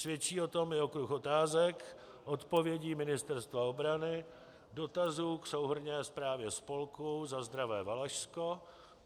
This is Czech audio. Svědčí o tom i okruh otázek, odpovědí Ministerstva obrany, dotazů k souhrnné zprávě spolku Za zdravé Valašsko.